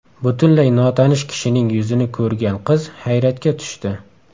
Butunlay notanish kishining yuzini ko‘rgan qiz hayratga tushdi.